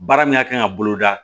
Baara min ka kan ka bolo da